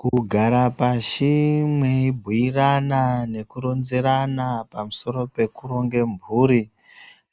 Kugara pashi mweibhuirana nekuronzerana pamusoro pekuronge mphuri